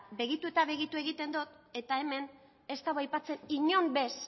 begitu eta begitu egiten dot eta hemen ez da aipatzen inon bez